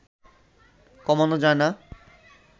কমানো যায় না